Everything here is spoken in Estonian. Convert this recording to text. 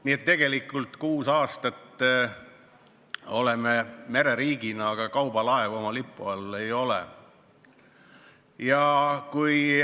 Nii et tegelikult kuus aastat oleme mereriigina olnud nii, et meil kaubalaevu oma lipu all ei ole.